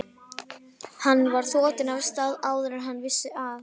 Hann var þotinn af stað áður en hann vissi af.